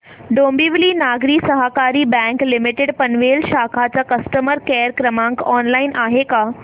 डोंबिवली नागरी सहकारी bank limited Panvel शाखा चा कस्टमर केअर क्रमांक ऑनलाइन आहे का